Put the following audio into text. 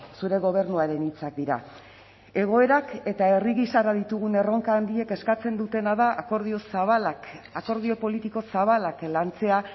zure gobernuaren hitzak dira egoerak eta herri gisara ditugun erronka handiek eskatzen dutena da akordio zabalak akordio politiko zabalak lantzea